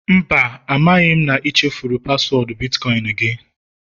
Mba, amaghị m na ị chefuru paswọọdụ bitkọịn gị